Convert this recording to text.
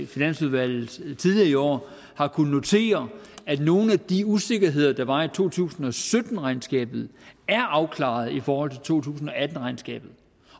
finansudvalget tidligere i år har kunnet notere at nogle af de usikkerheder der var i to tusind og sytten regnskabet er afklaret i forhold til to tusind og atten regnskabet